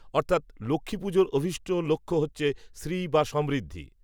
অর্থাত্, লক্ষ্মীপুজোর অভীষ্ট লক্ষ্য হচ্ছে, শ্রী বা সমৃদ্ধি